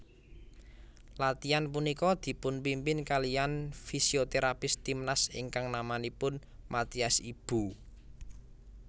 Latiyan punika dipunpimpin kaliyan fisioterapis timnas ingkang namanipun Mathias Ibo